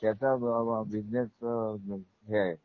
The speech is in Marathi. त्याचा बिझनेस अ हे आहे बरोबर